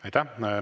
Aitäh!